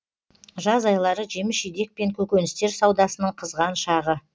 жаз айлары жеміс жидек пен көкөністер саудасының қызған шағы